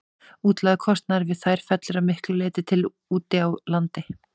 Útlagður kostnaður við þær fellur að miklu leyti til úti á landi.